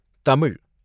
Tamil